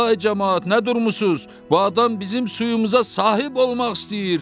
Ay camaat, nə durmusunuz, bu adam bizim suyumuza sahib olmaq istəyir.